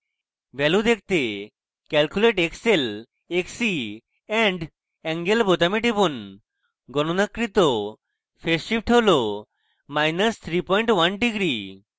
value দেখতে calculate xl xc and angle বোতামে টিপুন গণনাকৃত phase shift হল31 degree মাইনাস 31 degree